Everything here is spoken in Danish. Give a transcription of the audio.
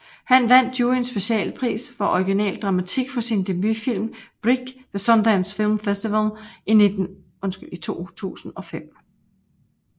Han vandt juryens specialpris for original dramatik for sin debutfilm Brick ved Sundance Film Festival i 2005